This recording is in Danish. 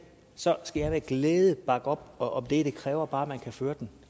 skal jeg med glæde bakke op om det det kræver bare at man kan føre den